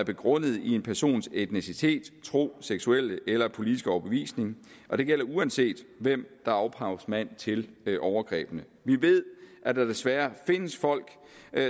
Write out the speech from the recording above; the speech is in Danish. er begrundet i en persons etnicitet tro seksuelle eller politiske overbevisning og det gælder uanset hvem der er ophavsmand til overgrebene vi ved at der desværre findes folk